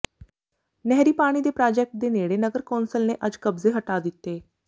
ਨਹਿਰੀ ਪਾਣੀ ਦੇ ਪ੍ਰਾਜੈਕਟ ਦੇ ਨੇੜੇ ਨਗਰ ਕੌਂਸਲ ਨੇ ਅੱਜ ਕਬਜ਼ੇ ਹਟਾ ਦਿੱਤੇ